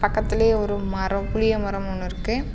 பக்கத்துலயே ஒரு மரம் புளிய மரம் ஒன்னு இருக்கு.